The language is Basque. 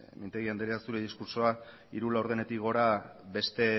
mintegi andrea zure diskurtsoa hiru laurdenetik gora beste